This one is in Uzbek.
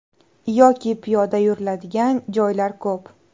Yoki piyoda yuriladigan joylar ko‘p.